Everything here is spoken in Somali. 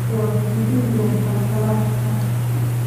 Waxaad jebin doontaa galaaskaas.